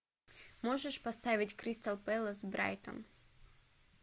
можешь поставить кристал пэлас брайтон